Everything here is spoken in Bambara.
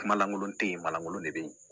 Kuma lankolon tɛ yen ma lankolon de bɛ yen